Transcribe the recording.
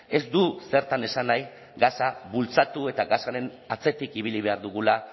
ez du zertan esan nahi gasa bultzatu eta gasaren atzetik ibili behar dugula